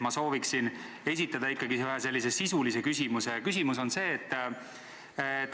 Ma sooviksin esitada ikkagi ühe sisulise küsimuse.